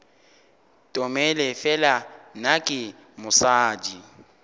tomele fela nna ke mosadi